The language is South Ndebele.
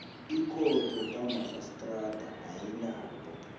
ikhotho kamarhistrada ayinawo